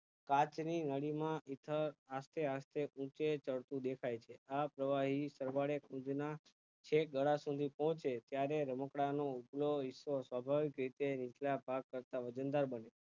કાંચ ની માં આસ્તે આસ્તે ઊચે ચડતું દેખાઈ છે આ પ્રવાહી પ્રમાણે કુંજ માં છેક ગળા સુધી પોચે ત્યારે રમકડાં નો ઉપલ્લો હિસ્સો સફળ રીતે નીચલા ભાગ કરતાં વજનદાર બને